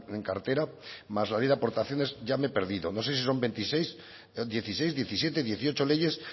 en cartera más la ley de aportaciones ya me he perdido no se sí son veintiséis dieciséis diecisiete dieciocho leyes